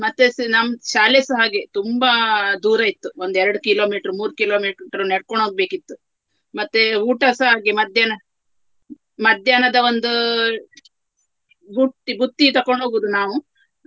ಮತ್ತೆಸ ನಮ್ಮ್ ಶಾಲೆಸ ಹಾಗೆ ತುಂಬಾ ದೂರ ಇತ್ತು ಒಂದು ಎರಡು kilometre ಮೂರು kilometre ನಡ್ಕೊಂಡು ಹೋಗ್ಬೇಕಿತ್ತು. ಮತ್ತೇ ಊಟಸ ಹಾಗೆಯೇ ಮಧ್ಯಾಹ್ನ ಮಧ್ಯಾಹ್ನದ ಒಂದು ಬುಟ್ಟಿ ಬುತ್ತಿ ತಕೊಂಡ್ ಹೋಗುವುದು ನಾವು.